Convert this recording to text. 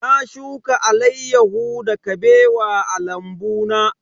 Na shuka alaiyahu da Kabewa a lambu na.